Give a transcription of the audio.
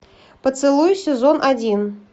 поцелуй сезон один